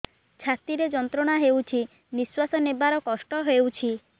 ଛାତି ରେ ଯନ୍ତ୍ରଣା ହେଉଛି ନିଶ୍ଵାସ ନେବାର କଷ୍ଟ ହେଉଛି